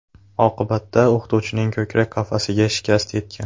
Oqibatda o‘qituvchining ko‘krak qafasiga shikast yetgan.